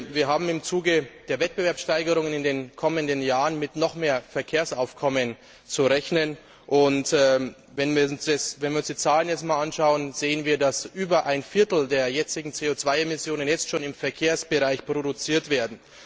Wir haben im Zuge der Wettbewerbssteigerungen in den kommenden Jahren mit noch mehr Verkehrsaufkommen zu rechnen, und wenn wir uns die Zahlen einmal anschauen, sehen wir, dass über ein Viertel der jetzigen CO Emmissionen jetzt schon im Verkehrsbereich produziert wird.